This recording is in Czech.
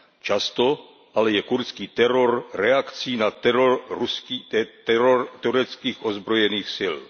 Často ale je kurdský teror reakcí na teror tureckých ozbrojených sil.